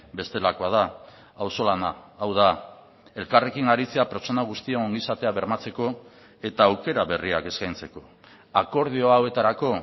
bestelakoa da auzolana hau da elkarrekin aritzea pertsona guztien ongizatea bermatzeko eta aukera berriak eskaintzeko akordio hauetarako